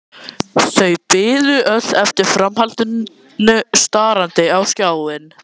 Þau biðu öll eftir framhaldinu starandi á skjáinn.